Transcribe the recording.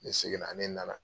Ne segin na ne na na